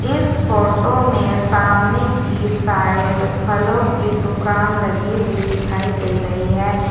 इस फोटो में सामने की साइड फलों की दुकान लगी हुई दिखाई दे रही है।